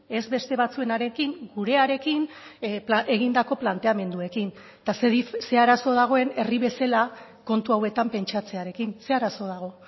ez beste batzuenarekin gurearekin egindako planteamenduekin eta ze arazo dagoen herri bezala kontu hauetan pentsatzearekin ze arazo dago